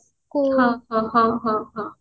ହଁ ହଁ ହଁ